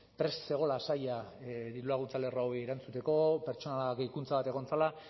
prest zegoela saila dirulaguntza lerro hauei erantzuteko pertsonal gehikuntza bat egon zela